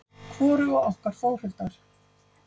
Hvoruga okkar Þórhildar.